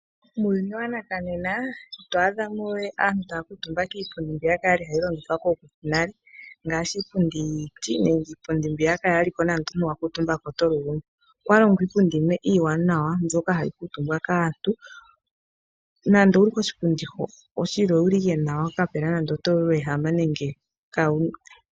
Muuyunj waNakanena, ito adha mo we aantu taya kuutumba kiipundi ya fa mbyoka kwali hayi longithwa kookuku yetu yonale, ngaashi andola iipundi yiiti nenge mbyoka hayi lulumike omuntu uuna a kuutumba. Mopaife okwa longwa iipundi iiwanawa, mbyoka ihayi etele omuntu uululume washa uuna a kuutumba.